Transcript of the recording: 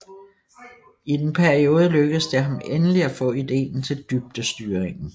I den periode lykkedes det ham endelig at få ideen til dybdestyringen